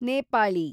Nepali